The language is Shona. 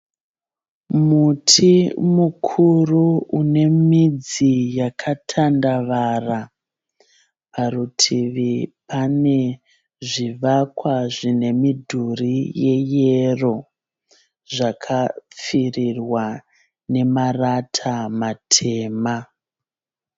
Muti mukuru une midzi yakatandavara parutivi pane zvivakwa zvine midhuri yeyero zvakapfirirwa nemarata matema.